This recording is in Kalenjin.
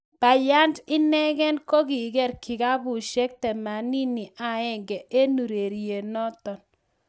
Bryant inegen kokiger kikabusiek 81 en urerionoton.